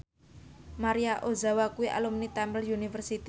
Maria Ozawa kuwi alumni Temple University